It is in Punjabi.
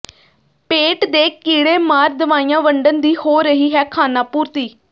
ਪੇਟ ਦੇ ਕੀਡ਼ੇ ਮਾਰ ਦਵਾਈਆਂ ਵੰਡਣ ਦੀ ਹੋ ਰਹੀ ਹੈ ਖਾਨਾਪੂਰਤੀ